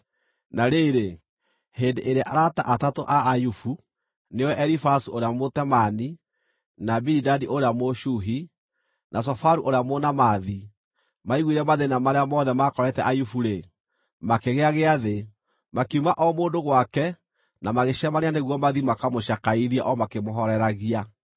Na rĩrĩ, hĩndĩ ĩrĩa arata atatũ a Ayubu, nĩo Elifazu ũrĩa Mũtemaani, na Bilidadi ũrĩa Mũshuhi, na Zofaru ũrĩa Mũnaamathi, maaiguire mathĩĩna marĩa mothe maakorete Ayubu-rĩ, makĩgĩa gĩathĩ, makiuma o mũndũ gwake na magĩcemania nĩguo mathiĩ makamũcakaithie o makĩmũhooreragia.